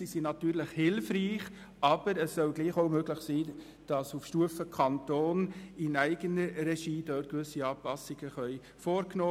Sicher sind sie hilfreich, aber es soll trotzdem möglich sein, auf Stufe Kanton in eigener Regie gewisse Anpassungen vorzunehmen.